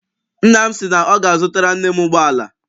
Nna m si na ọ ga- azutara nne m ụgbọala.